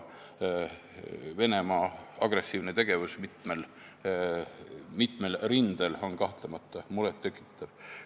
Venemaa agressiivne tegevus mitmel rindel on kahtlemata muret tekitav.